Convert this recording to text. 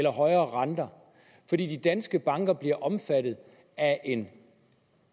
og højere renter fordi de danske banker bliver omfattet af en